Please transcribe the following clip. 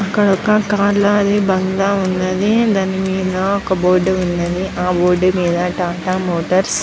ఒక కార్ ల బాగల ఉన్నది దానికి మిద వక బోర్డు ఉనది. హా బోర్డు మిద టాటా మోటర్స్ --